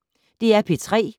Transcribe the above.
DR P3